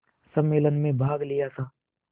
सम्मेलन में भाग लिया था